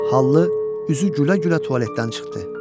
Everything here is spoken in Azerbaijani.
Hallı üzü gülə-gülə tualetdən çıxdı.